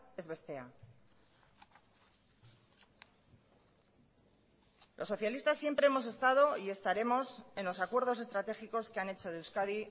ez bestea los socialistas siempre hemos estado y estaremos en los acuerdos estratégicos que han hecho de euskadi